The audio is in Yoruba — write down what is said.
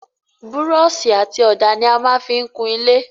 Búrọ̀sì àti ọ̀dà ni a maá fí n kun ilé